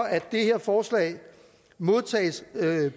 at det her forslag modtages